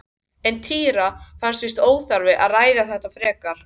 En Týra fannst víst óþarft að ræða þetta frekar.